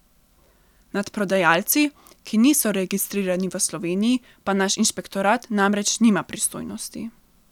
Nad prodajalci, ki niso registrirani v Sloveniji, pa naš inšpektorat namreč nima pristojnosti.